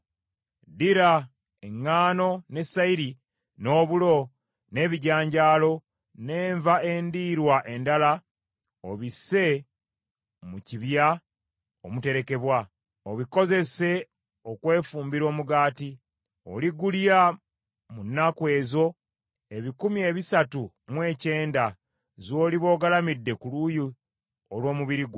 “Ddira eŋŋaano ne sayiri, n’obulo, n’omukyere, n’ebijanjalo, n’enva endiirwa endala obisse mu kibya omuterekebwa, obikozese okwefumbira omugaati. Oligulya mu nnaku ezo ebikumi ebisatu mu ekyenda z’oliba ogalamidde ku luuyi olw’omubiri gwo.